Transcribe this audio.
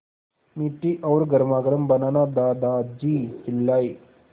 मीठी और गर्मागर्म बनाना दादाजी चिल्लाए